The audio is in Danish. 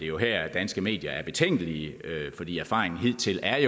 jo her at danske medier er betænkelige fordi erfaringen hidtil er